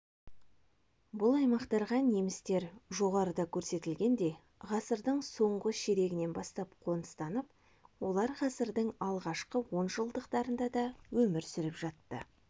бұл аймақтарға немістер жоғарыда көрсетілгендей ғасырдың соңғы ширегінен бастап қоныстанып олар ғасырдың алғашқы онжылдықтарында да өмір сүріп жатты